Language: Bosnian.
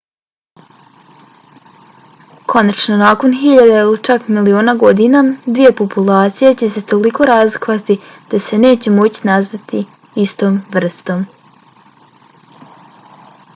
konačno nakon hiljada ili čak miliona godina dvije populacije će se toliko razlikovati da se neće moći nazvati istom vrstom